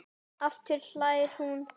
Hún dregur Júlíu af stað.